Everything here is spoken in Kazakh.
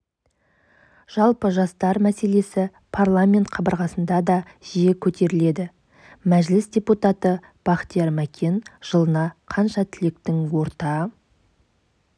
жалпы жастар мәселесі парламент қабырғасында да жиі көтеріледі мәжіліс депутаты бахтияр мәкен жылына қанша түлектің орта